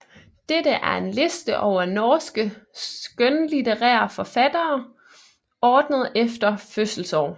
Dette er en liste over norske skønlitterære forfattere ordnet efter fødselsår